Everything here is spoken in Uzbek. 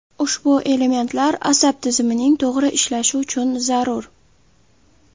Ushbu elementlar asab tizimining to‘g‘ri ishlashi uchun zarur.